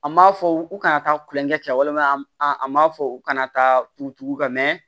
An m'a fɔ u kana taa kulonkɛ kɛ walima an m'a fɔ u kana taa tugu u kan